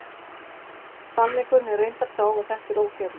Sannleikurinn er reyndar sá að þetta er ógerlegt!